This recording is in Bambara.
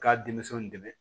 K'a denmisɛnw dɛmɛ